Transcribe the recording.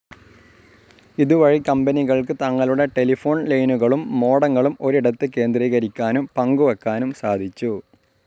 ഇതുവഴി കമ്പനികൾക്ക് തങ്ങളുടെ ടെലിഫോൺ ലൈനുകളും മോഡങ്ങളും ഒരിടത്ത് കേന്ദ്രീകരിക്കാനും പങ്കുവെക്കാനും സാധിച്ചു.